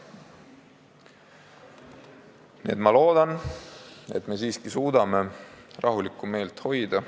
Nii et ma loodan, et me siiski suudame rahulikku meelt hoida.